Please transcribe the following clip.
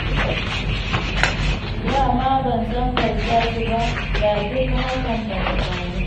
Da ma ban sangarta su ba, da duk hakan ba ta faru ba.